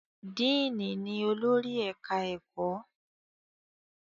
Diini ní olórí ẹka ẹkọ.